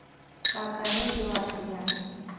काका ने जवाब दिया